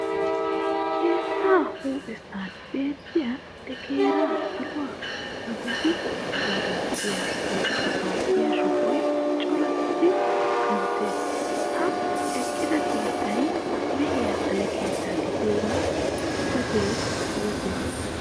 Keettaa huuphessan beettiya deegara saluwa kammidi koorinttiya wolqqaa aattiya shubay corattidi kanttiis. Ha eqqida keettay mehiya xale keetta gidiyooga xuufetee yootees.